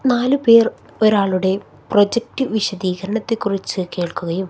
നാലുപേർ ഒരാളുടെ പ്രോജക്ട് വിശദീകരണത്തെക്കുറിച്ച് കേൾക്കുകയും--